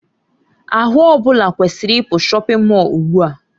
Ahụ ọ bụla kwesịrị ịpụ shọpin Mọll ugbu a!